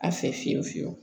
A fɛ fiyewu fiyewu